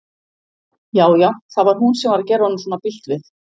Já, já, það var hún sem var að gera honum svona bilt við!